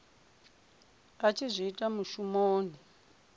a tshi zwi ita mushumoni